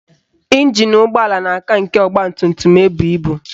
Ịnjin ụgbọala na-aka nke ọgbatumtum ebu ibu